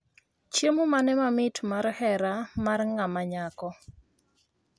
Chiemo mane mamit mar hera mar ng'a manyako